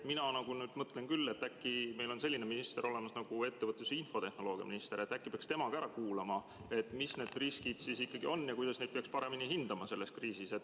Mina nüüd küll mõtlen, et meil on selline minister nagu ettevõtlus‑ ja infotehnoloogiaminister ja äkki peaks tema ka ära kuulama, mis need riskid siis ikkagi on ja kuidas neid peaks paremini hindama selles kriisis.